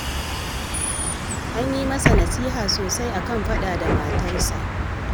An yi masa nasiha sosai a kan faɗa da matarsa